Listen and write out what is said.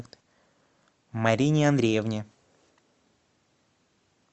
марине андреевне